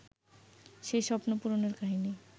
সেই স্বপ্ন পূরণের কাহিনি